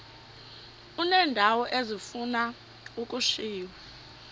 uneendawo ezifuna ukushiywa